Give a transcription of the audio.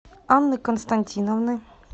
анны константиновны